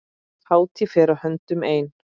Hátíð fer að höndum ein.